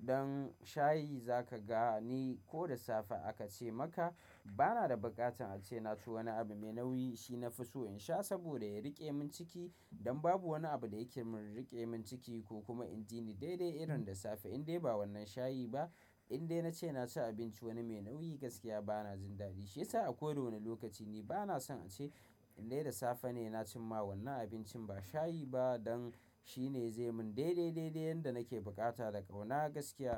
Dan shayi za ka ga ni ko da safe aka ce maka. Bana da buƙatar ace na ci wani abu mai nauyi shi nafi so in sha saboda ya rike min ciki. Don babu wani abu da yake min rike min ciki ko kuma in ji ni dai-dai irin da safe indai ba wannan shayi ba, indai na ce na ci abinci wani mai nauyi gaskiya bana jin daɗi. Shi yasa a koda wane lokaci ni bana son ace indai da safe ne na ci ma wannan abincin ba shayi ba don shi ne zai min dai-dai-dai dai yanda nake bukata da kauna gaskiya.